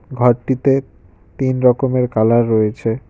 ঘরটিতে তিন রকমের কালার রয়েছে।